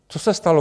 Co se stalo?